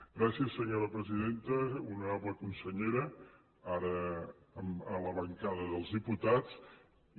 gràcies senyora presidenta honorable consellera ara a la bancada dels diputats i